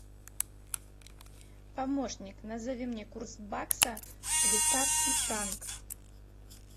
помощник назови мне курс бакса швейцарский франк